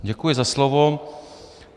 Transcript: Děkuji za slovo.